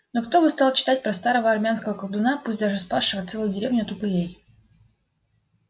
ну кто бы стал читать про старого армянского колдуна пусть даже спасшего целую деревню от упырей